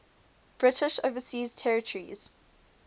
british overseas territories